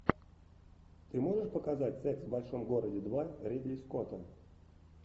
ты можешь показать секс в большом городе два ридли скотта